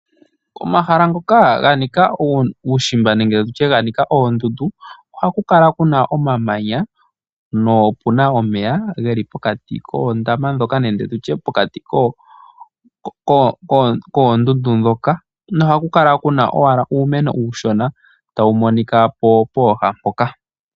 Komahala ngoka ga nika uushimba nenge tutye ga nika oondundu ohaku kala puna omamanya nopuna omeya geli pokati koondama ndhoka nenge tutye pokati koondundu ndhoka nohaku kala kuna owala uumeno uushona tawu monika po pooha mpoka.